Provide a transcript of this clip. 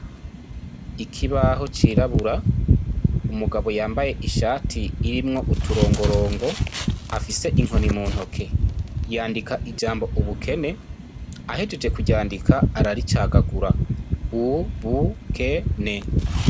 Ikibaho cirabura, umugabo yambaye ishati irimwo utorongorongo afise inkoni mu ntoke, yandika ijambo ubukene, ahejeje kuryandika araricagagura: u-bu-ke-ne.